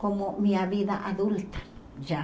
como minha vida adulta, já.